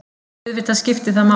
Auðvitað skipti það máli.